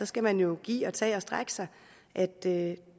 skal man jo give og tage og strække sig at det